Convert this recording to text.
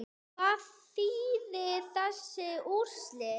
Hvað þýða þessi úrslit?